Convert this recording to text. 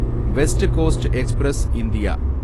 west Coast Express India